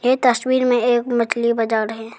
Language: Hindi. ये तस्वीर में एक मछली बाजार है।